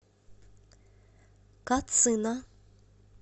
кацина